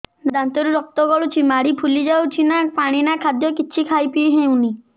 ଦାନ୍ତ ରୁ ରକ୍ତ ଗଳୁଛି ମାଢି ଫୁଲି ଯାଉଛି ନା ପାଣି ନା ଖାଦ୍ୟ କିଛି ଖାଇ ପିଇ ହେଉନି